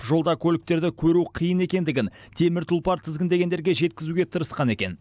жолда көліктерді көру қиын екендігін темір тұлпар тізгіндегендерге жеткізуге тырысқан екен